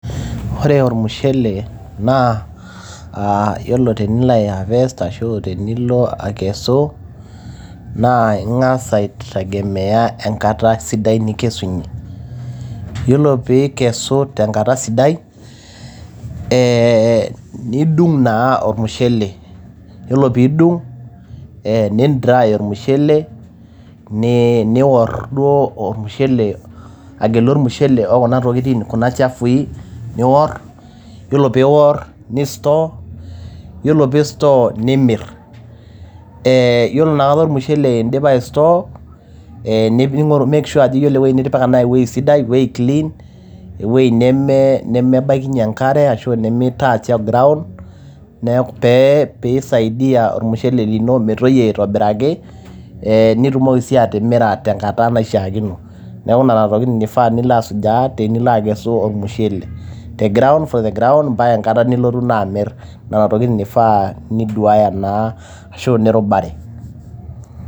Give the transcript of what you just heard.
Ore ormushele naa yiolo tenilo a ae harvest ashuaa tenilo akesu naa ingas aitengemea enkata sidai ninkesunyie . yiolo pikesu tenkata sidai ee nidung naa ormushele ,yiolo pidung ,ni try ormushele, nior duo agelu ormushele kuna tokitin kuna chafui nior. yiolo pior , ni store. yiolo pi store ,nimirr, ee yiolo ina kata ormushele indipa ae store ningoru ni make sure ajo itipika ewuei sai ewuie clean ewuei neme nemebaikinyie enkare ashu neme neme touch the ground pee pisaidia ormushele lino metoyio aitobiraki nitumoki si atimira tenkata naishiiakino. niaku nena tokitin eifaa nilo asujaa tenilo akesu ormushele . the ground for the ground nena tokitin ifaa ashuaa eshiaa nirubare.